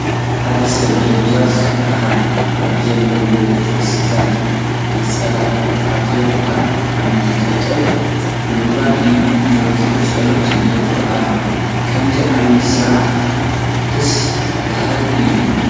ሓደ ሰብ ደብዛዝ ብርሃን ኣብ ዘለዎ ቤተ ክርስቲያን ነፀላ ተዓጢቑ ኣብ ዓምዲ ጠጠው ብምባል ኢዱ ዘርጊሑ ፀሎት ይገብር ኣሎ፡፡ ከምዚ ዓይነት ስርዓት ደስ በሃሊ እዩ፡፡